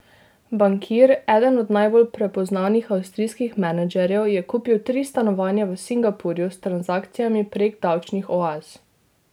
Bankir, eden od najbolj prepoznavnih avstrijskih menedžerjev, je kupil tri stanovanja v Singapurju s transakcijami prek davčnih oaz.